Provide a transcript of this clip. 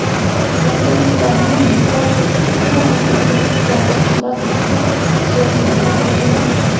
Rossiyaliklarning mutlaq ko‘pchiligi mamlakatda iqtisodiy inqiroz hukm surayotganini bildirmoqda.